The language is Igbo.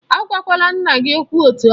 A gwakwala nna gị okwụ etu ahụ!